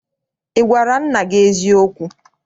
Ị gwara nna gị eziokwu?